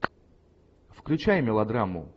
включай мелодраму